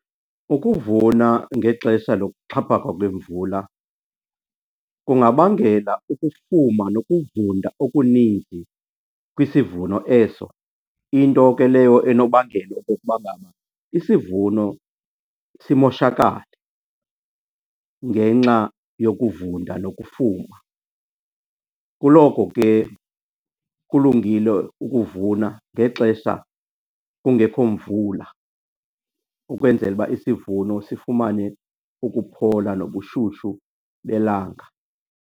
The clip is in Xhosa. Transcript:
Ukuvuna ngexesha lokuxhaphaka kwemvula kungabangela ukufuma nokuvunda okuninzi kwisivuno eso, into ke leyo enobangela okokuba ngaba isivuno simoshakale ngenxa yokuvunda nokufuma. Kuloko ke kulungile ukuvuna ngexesha kungekho mvula ukwenzela uba isivuno sifumane ukuphola nobushushu belanga.